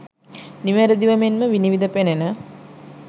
නිවැරදිව මෙන්ම විනිවිද පෙනෙන